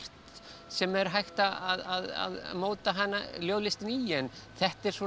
sem er hægt að móta hana ljóðlistina í en þetta er svona